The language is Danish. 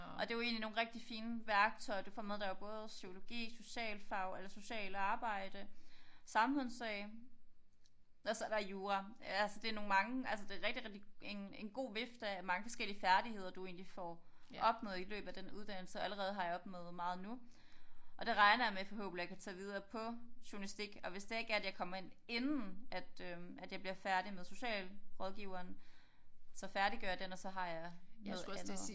Og det jo egentlig nogle rigtig fine værktøjer du får med der er jo både psykologi socialfag eller socialt arbejde samfundsfag og så er der jura altså det nogle mange altså det rigtig rigtig en en god vifte af mange forskellige færdigheder du egentlig får opnået i løbet af den uddannelse og allerede har jeg opnået meget nu og det regner jeg med forhåbentligt at kunne tage videre på journalistik og hvis det ikke er at jeg kommer ind inden at øh at jeg bliver færdig med socialrådgiveren så færdiggør jeg den og så har jeg noget andet